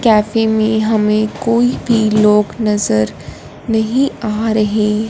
cafe में हमें कोई भी लोग नजर नहीं आ रहे--